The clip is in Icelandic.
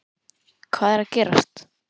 HVAÐ ER AÐ GERAST???